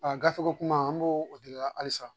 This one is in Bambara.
gafe ko kuma an b' o o de la halisa.